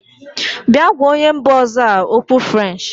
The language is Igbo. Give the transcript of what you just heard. Bịa gwa onye mba ọzọ a okwu french!.